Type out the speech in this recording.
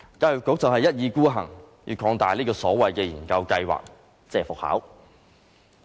教育局一意孤行要擴大這個所謂研究計劃。